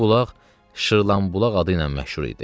Bu bulaq Şırlanbulaq adı ilə məşhur idi.